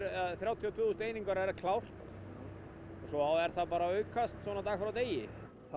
þrjátíu og tvö þúsund einingar er klárt og svo er það bara að aukast svona dag frá degi það